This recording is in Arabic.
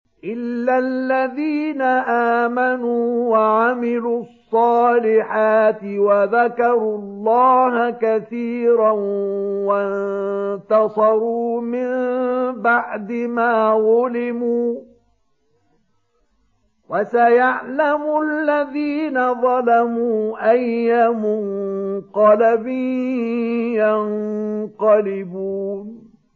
إِلَّا الَّذِينَ آمَنُوا وَعَمِلُوا الصَّالِحَاتِ وَذَكَرُوا اللَّهَ كَثِيرًا وَانتَصَرُوا مِن بَعْدِ مَا ظُلِمُوا ۗ وَسَيَعْلَمُ الَّذِينَ ظَلَمُوا أَيَّ مُنقَلَبٍ يَنقَلِبُونَ